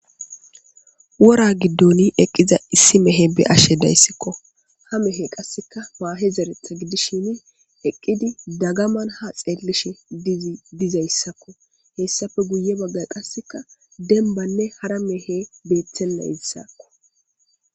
Wora giddon eqqida isse mehe be7ashe dayssi. Ha mehey qasse maahe zerethi gidishin eqqidi dagaman ha xeelishe dizayssa,hessappe guye baggan qasseka dembbanne hara mehe bettesi.